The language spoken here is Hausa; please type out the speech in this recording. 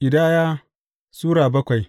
Ƙidaya Sura bakwai